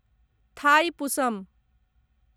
Thaipusam